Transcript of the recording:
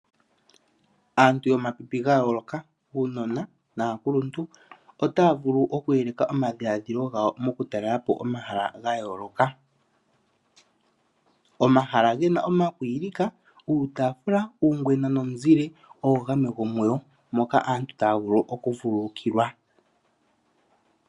Aantu yomapipi ga yooloka, uunona naakuluntu ota ya vulu oku yeleka omadhiladhilo gawo moku talela po omahala ga yooloka. Omahala gena oma kwiilika, uutaafula, uungwena nomizile oyo gamwe gomuyo, moka aantu taya vulu oku vululukilwa.